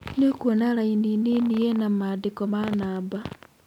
Nĩũkwona raini nini ĩna maandiko ma namba